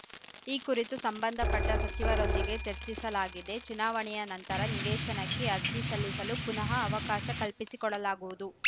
ಈ ಕುರಿತು ಸಂಬಂಧಪಟ್ಟಸಚಿವರೊಂದಿಗೆ ಚರ್ಚಿಸಲಾಗಿದೆ ಚುನಾವಣೆಯ ನಂತರ ನಿವೇಶನಕ್ಕೆ ಅರ್ಜಿ ಸಲ್ಲಿಸಲು ಪುನಃ ಅವಕಾಶ ಕಲ್ಪಿಸಿ ಕೊಡಲಾಗುವುದು